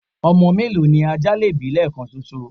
ọmọ mélòó ni ajá lè bí lẹẹkan ṣoṣo?